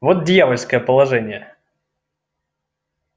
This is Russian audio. вот дьявольское положение